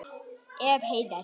Ef. Heiðar